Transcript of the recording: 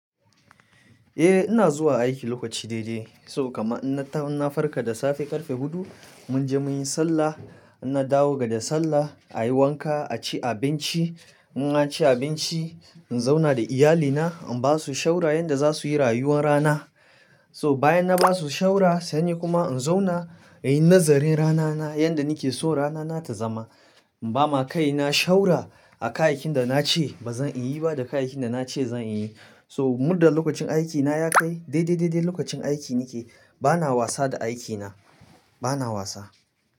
Eh ina zuwa aiki lokaci daidai, so kama ina na farka da safe ƙarfe hudu. Munje muyi sallah, ina dawo daga sallah a yi wanka, a ci abinci. Inna ci abinci in zauna da iyalina, in basu shawar yanda za suyi rayuwar rana. So bayan na basu shawar sai ni kuma in zauna inyi nazarin ranana yanda nake so ranana ta zama. In bama kai na shawar a kayakin da na ce ba zan iyi ba da kayakin da na ce zan iyi. So muda lokacin aikina ya kai, daidai daidai lokacin aiki nike. Bana wasa da aikina, bana wasa.